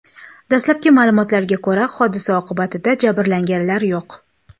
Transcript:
Dastlabki ma’lumotlarga ko‘ra, hodisa oqibatida jabrlanganlar yo‘q.